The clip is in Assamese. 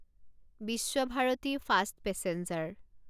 Visva-Bharati fast passenger